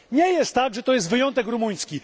Nie jest tak, że to jest wyjątek rumuński.